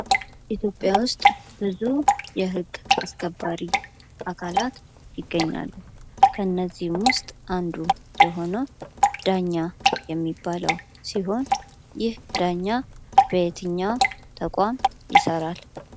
ኢትዮጵያ ውስጥ ብዙ የህግ አስከባሪ አባላት ይገኛሉ። ከነዚህም ውስጥ አንዱ የሆነው ዳኛ የሚባለው ሲሆን ይህ ዳኛ ከየትኛው ተቋም ይሰራል?